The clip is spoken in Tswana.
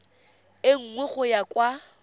e nngwe go ya kwa